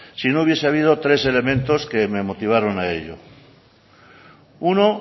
si no hubiese habido tres elementos que me motivaron a ello uno